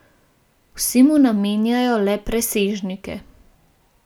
Vsi mu namenjajo le presežnike.